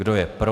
Kdo je pro?